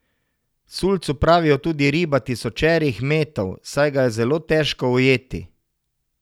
Sulcu pravijo tudi riba tisočerih metov, saj ga je zelo težko ujeti.